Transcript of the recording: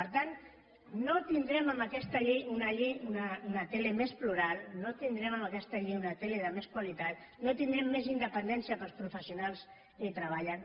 per tant no tindrem amb aquesta llei una tele més plural no tindrem amb aquesta llei una tele de més qualitat no tindrem més independència per als professionals que hi treballen